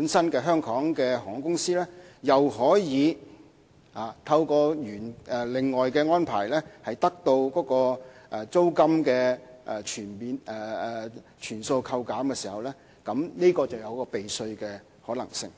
香港航空公司本身又可以透過其他安排，得到租金全數扣減，當中就會出現避稅的可能性。